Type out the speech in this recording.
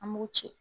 An b'u ci